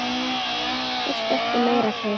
Þurfti ekki meira til.